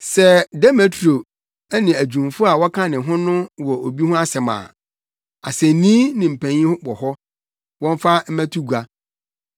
Sɛ Demetrio ne adwumfo a wɔka ne ho no wɔ obi ho asɛm bi a, asennii ne mpanyin wɔ hɔ, wɔmfa mmɛto gua.